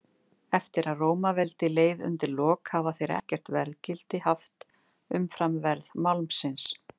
Eftir að Rómaveldi leið undir lok hafa þeir ekkert verðgildi haft umfram verð málmsins.